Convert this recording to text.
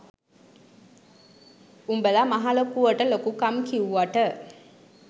උඹල මහලොකුවට ලොකු කම් කිව්වට